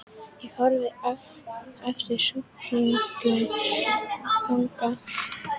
Ég horfi á eftir stúlkunni ganga upp slóðina.